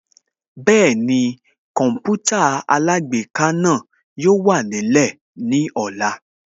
Bẹ́ẹ̀ni Kọǹpútà alágbèéká náà yóò wà nílẹ̀ ní ọ̀la